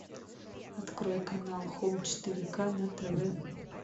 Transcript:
открой канал хоум четыре ка на тв